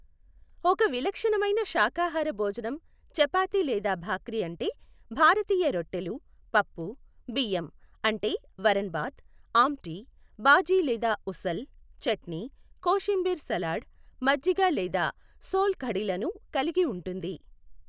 ఒక విలక్షణమైన శాకాహార భోజనం చపాతి లేదా భాక్రీ అంటే భారతీయ రొట్టెలు, పప్పు, బియ్యం అంటే వరన్ భాత్, ఆమ్టి, భాజి లేదా ఉసల్, చట్నీ, కోషిమ్బీర్ సలాడ్, మజ్జిగ లేదా సోల్ కఢిలను కలిగి ఉంటుంది.